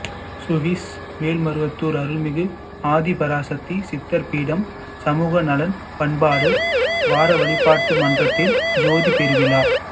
Swiss Melmaruvathur அருள்மிகு ஆதிபராசக்தி சித்தர்பீடம் சமுகநலம் பண்பாடு வாரவழிபாட்டு மன்றத்தில் ஜோதிப் பெருவிழா